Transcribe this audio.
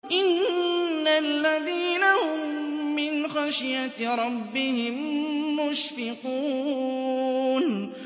إِنَّ الَّذِينَ هُم مِّنْ خَشْيَةِ رَبِّهِم مُّشْفِقُونَ